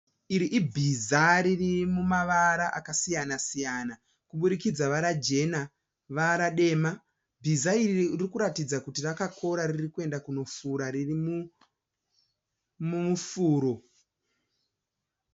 Iri ibhiza riri mumavara akasiyana siyana kuburikidza vara jena vara dema. Bhiza iri riri kuratidza kuti rakakora riri kuenda kunofura riri mumufuro.